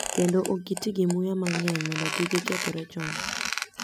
Kendo ok giti gi muya mang'eny mondo kik gikethore chon